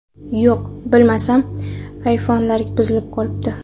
Yo‘q, bilsam, ayfonlari buzilib qolibdi.